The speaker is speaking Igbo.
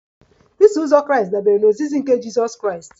Iso uzọ Kraịst dabere na ozizi nke Jizọs Kraịst